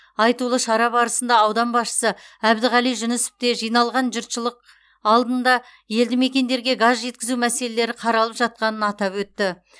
айтулы шара барысында аудан басшысы әбдіғали жүнісов те жиналған жұртшылық алдында елді мекендерге газ жеткізу мәселелері қаралып жатқанын атап өтті